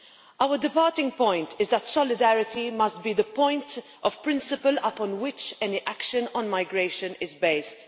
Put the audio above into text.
Our departing point is that solidarity must be the point of principle upon which any action on migration is based.